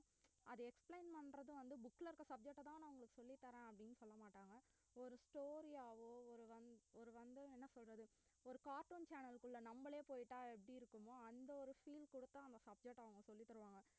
அது explain பண்ணறதும் வந்து book ல இருக்க subject அ தான் நாங்க சொல்லி தரேன் அப்படினு சொல்லமாட்டாங்க ஒரு story ஆவோ ஒரு rhym~ ஒரு வந்து என்ன சொல்லறது ஒரு cartoon channel குள்ள நாமளே போய்ட்டா எப்படி இருக்குமோ அந்த ஒரு feel குடுத்து அந்த subject அ அவுங்க சொல்லி தருவாங்க